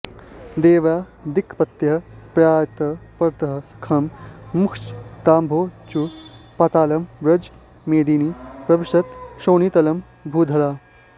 देवा दिक्पतयः प्रयात परतः खं मुञ्चताम्भोमुचः पातालं व्रज मेदिनि प्रविशत क्षोणीतलं भूधराः